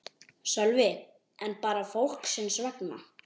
Sölvi: En bara fólksins vegna?